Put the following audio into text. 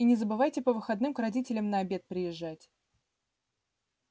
и не забывайте по выходным к родителям на обед приезжать